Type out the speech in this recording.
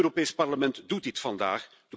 Het Europees Parlement doet dit vandaag.